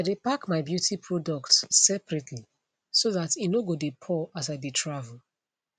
i dae pack my beauty products separately so that e no go dae pour as i dae travel